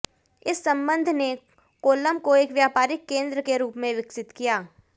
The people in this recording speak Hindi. इस संबंध ने कोल्लम को एक व्यापारिक केंद्र के रूप में विकसित किया